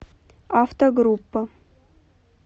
автогруппа